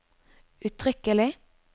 uttrykkelig